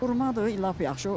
Xurmadır, lap yaxşı.